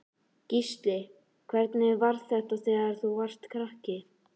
Gísli: Hvernig var þetta þegar þú varst krakki?